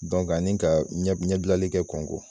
ani ka ɲɛbilali kɛ kɔngo.